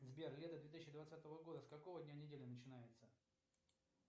сбер лето две тысячи двадцатого года с какого дня недели начинается